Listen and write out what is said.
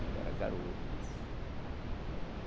Ainda era garoto.